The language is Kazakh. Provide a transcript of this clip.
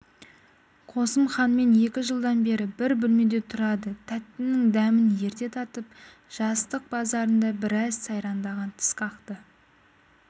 қосымханмен екі жылдан бері бір бөлмеде тұрады тәттінің дәмін ерте татып жастық базарында біраз сайрандаған тісқақты